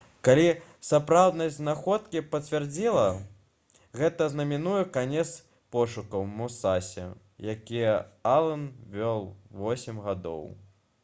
калі сапраўднасць знаходкі пацвердзіцца гэта азнаменуе канец пошукаў «мусасі» якія ален вёў восем гадоў